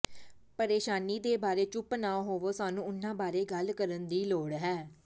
ਪਰੇਸ਼ਾਨੀ ਦੇ ਬਾਰੇ ਚੁੱਪ ਨਾ ਹੋਵੋ ਸਾਨੂੰ ਉਹਨਾਂ ਬਾਰੇ ਗੱਲ ਕਰਨ ਦੀ ਲੋੜ ਹੈ